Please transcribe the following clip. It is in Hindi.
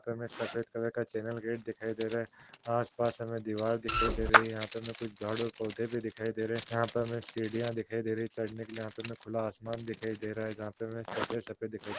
मे सफेद कलर का चैनल गेट दिखाई दे रहा हैं आसपास हमे दीवार दिखाई दे रही हैं यहाँ पे हमे कुछ झाड़ और पौधे भी दिखाई दे रहे हैं यहाँ पे हमे के सीढ़ियाँ दिखाई दे रही है चढ़ने के लिए यहाँ पे हमे खुला आसमान दिखाई दे रहा है जहाँ भी हमे सफेद सफेद दिखाई--